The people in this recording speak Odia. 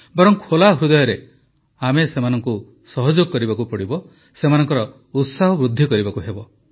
ବରଂ ଖୋଲା ହୃଦୟରେ ଆମେ ସେମାନଙ୍କୁ ସହଯୋଗ କରିବାକୁ ହେବ ସେମାନଙ୍କ ଉତ୍ସାହ ବୃଦ୍ଧି କରିବାକୁ ହେବ